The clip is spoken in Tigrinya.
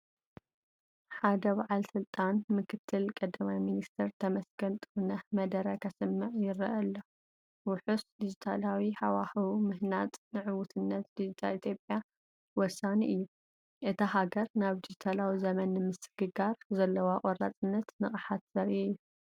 ሓደ በዓል ስልጣን (ምክትል ቀዳማይ ሚኒስተር ተመስገን ጥሩነህ) መደረ ከስምዕ ይረአ ኣሎ። "ውሑስ ዲጂታላዊ ሃዋህው ምህናጽ ንዕውትነት ዲጂታል ኢትዮጵያ ወሳኒ እዩ።" እታ ሃገር ናብ ዲጂታላዊ ዘመን ንምስግጋር ዘለዋ ቆራጽነትን ንቕሓትን ዘርኢ እዩ።